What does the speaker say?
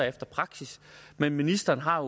efter praksis men ministeren har